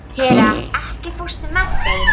Hera, ekki fórstu með þeim?